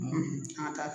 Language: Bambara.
An ka taa